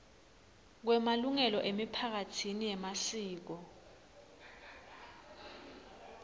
kwemalungelo emiphakatsi yemasiko